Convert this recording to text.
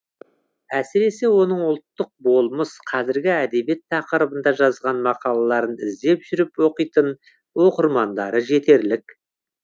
әсіресе оның ұлттық болмыс қазіргі әдебиет тақырыбында жазған мақалаларын іздеп жүріп оқитын оқырмандары жетерлік